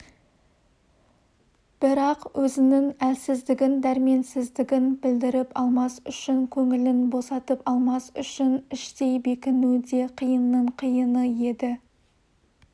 бірақ өзінің әлсіздігін дәрменсіздігін білдіріп алмас үшін көңілін босатып алмас үшін іштей бекіну де қиынның қиыны еді